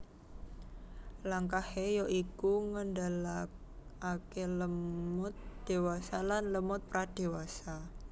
Langkahé ya iku ngendhalèkaké lemut dewasa lan lemut pradewasa